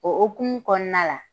O o hokumu kɔnɔna la,